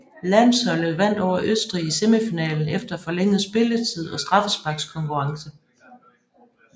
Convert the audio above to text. Landsholdet vandt over Østrig i semifinalen efter forlænget spilletid og straffesparkskonkurrence